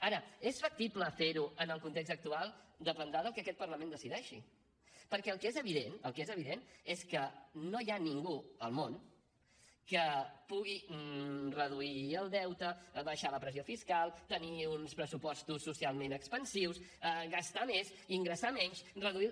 ara és factible fer ho en el context actual dependrà del que aquest parlament decideixi perquè el que és evident el que és evident és que no hi ha ningú al món que pugui reduir el deute abaixar la pressió fiscal tenir uns pressupostos socialment expansius gastar més ingressar menys reduir